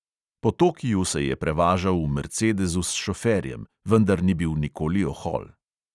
Po tokiu se je prevažal v mercedezu s šoferjem, vendar ni bil nikoli ohol.